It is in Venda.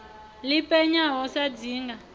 ḽi penya ho sa dzinga